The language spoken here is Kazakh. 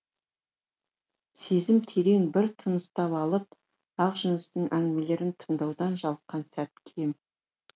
сезім терең бір тыныстап алып ақжүністің әңгімелерін тыңдаудан жалыққан сәті кем